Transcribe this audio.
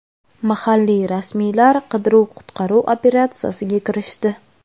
Mahalliy rasmiylar qidiruv-qutqaruv operatsiyasiga kirishdi.